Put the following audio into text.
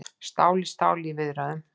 Stál í stál í viðræðum